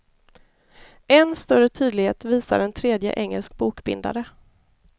Än större tydlighet visar en tredje engelsk bokbindare.